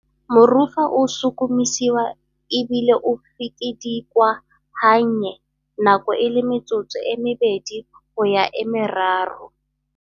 Morufa o sukumisiwa e bile o fikidikwa gannye nako e le metsotso e mebedi go ya e meraro.